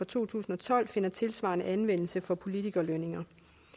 to tusind og tolv finder tilsvarende anvendelse for politikerlønninger